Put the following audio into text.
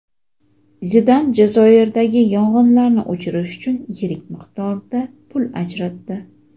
Zidan Jazoirdagi yong‘inlarni o‘chirish uchun yirik miqdorda pul ajratdi.